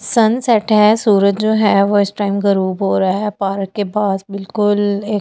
सन set है सूरज जो है वो इस टाइम गरूब हो रहा है पार्क के पास बिल्कुल एक--